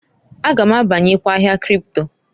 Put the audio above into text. A ga m abanyekwa ahịa kripto.